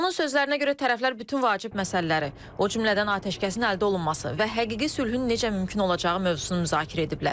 Onun sözlərinə görə tərəflər bütün vacib məsələləri, o cümlədən atəşkəsin əldə olunması və həqiqi sülhün necə mümkün olacağı mövzusunu müzakirə ediblər.